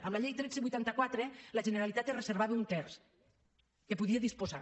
amb la llei tretze vuitanta quatre la generalitat se’n reservava un terç de què podia disposar